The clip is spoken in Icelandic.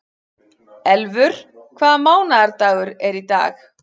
Elfur, hvaða mánaðardagur er í dag?